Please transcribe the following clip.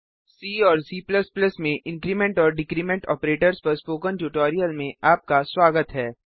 सी और C में increment और डिक्रीमेंट ऑपरेटर्स पर स्पोकन ट्यूटोरियल में आपका स्वागत है